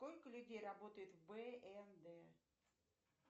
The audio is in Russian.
сколько людей работает в бмд